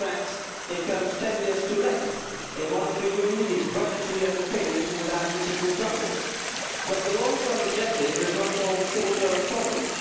In fact it comes 10 years too late. A monetary union needs budgetary underpinning, without which it will crumble. But the long term objective does not solve short term problems.